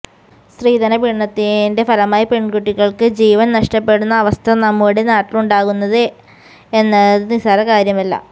സ്ത്രീധന പീഡനത്തിന്റെ ഫലമായി പെണ്കുട്ടികള്ക്ക് ജീവന് നഷ്ടപ്പെടുന്ന അവസ്ഥ നമ്മുടെ നാട്ടിലാണുണ്ടാകുന്നത് എന്നത് നിസ്സാര കാര്യമല്ല